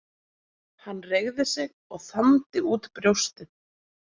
Hann reigði sig og þandi út brjóstið.